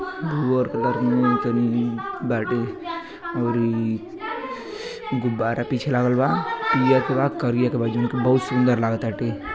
भुअर कलर मे तनी बाटे। अउरी गुब्बारा पीछे लागल बा। पियर के बा करिया के बा जौन कि बहुत सुंदर लागताटे।